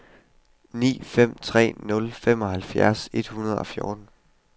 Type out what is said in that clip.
ni fem tre nul femoghalvfjerds et hundrede og fjorten